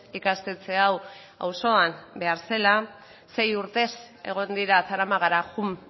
ikastetxe hau auzoan behar zela sei urtez egon dira zaramagara joan